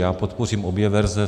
Já podpořím obě verze.